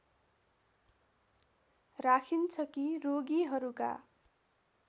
राखिन्छ कि रोगीहरूका